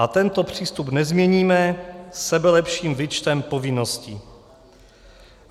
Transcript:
A tento přístup nezměníme sebelepším výčtem povinností.